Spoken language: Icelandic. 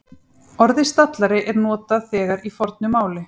Orðið stallari er notað þegar í fornu máli.